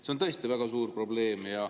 See on tõesti väga suur probleem.